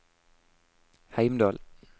Heimdal